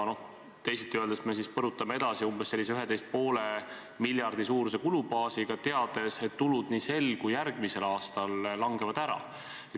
Teisiti öeldes me põrutame edasi umbes 11,5 miljardi suuruse kulubaasiga, teades, et tulusid nii sel kui ka järgmisel aastal langeb ära.